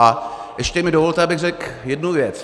A ještě mi dovolte, abych řekl jednu věc.